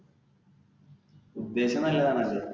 ഉദ്ദേശം നല്ലതാണല്ലേ.